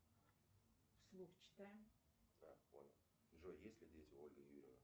джой есть ли дети у ольги юрьевны